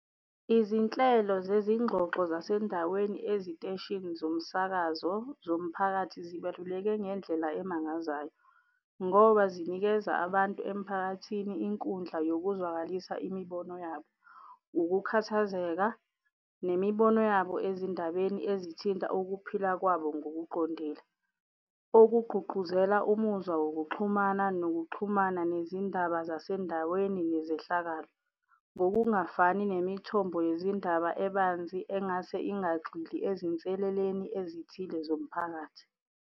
Izinhlelo zezingxoxo zasendaweni eziteshini zomsakazo zomphakathi zibaluleke ngendlela emangazayo ngoba zinikeza abantu emphakathini inkundla yokuzwalisa imibono yabo, ukukhathazeka, imibono yabo ezindabeni ezithinta ukuphila kwabo ngokuqondile. Okugqugquzela umuzwa wokuxhumana, nokuxhumana nezindaba zasendaweni nezehlakalo ngokungafani nemithombo yezindaba ebanzi engase ingagxili ezinseleleni ezithile zomphakathi.